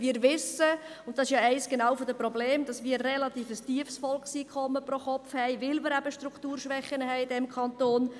Wir wissen – und dies ist genau eines der Probleme –, dass wir ein relativ tiefes Volkseinkommen pro Kopf haben, weil wir in diesem Kanton Strukturschwächen haben.